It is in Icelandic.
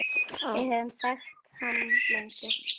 Við höfum þekkt hann lengi.